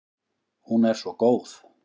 Hún er svo góð.